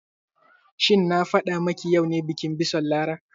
Shin na faɗa ma ki yau ne bikin bison Lara?